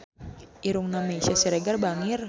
Irungna Meisya Siregar bangir